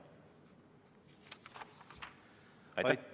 Aitäh!